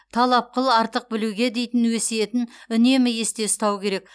талап қыл артық білуге дейтін өсиетін үнемі есте ұстау керек